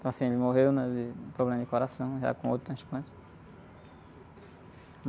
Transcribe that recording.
Então, assim, ele morreu, né? De problema de coração, já com outro transplante.